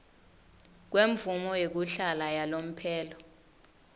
kwemvumo yekuhlala yalomphelo